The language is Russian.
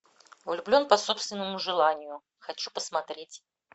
влюблен по собственному желанию хочу посмотреть